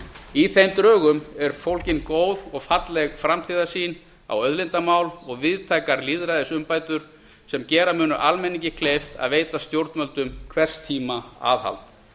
í þeim drögum er fólgin góð og falleg framtíðarsýn á auðlindamál og víðtækar lýðræðisumbætur sem gera munu almenningi kleift að veita stjórnvöldum hvers tíma nauðsynlegt aðhald